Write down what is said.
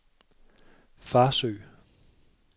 Farsø